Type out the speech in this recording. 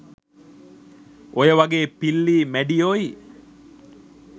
ඔයවගේ පිල්ලියි මැඩියෝයි